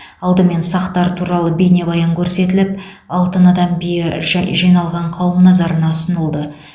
алдымен сақтар туралы бейнебаян көрсетіліп алтын адам биі жә жиналған қауым назарына ұсынылды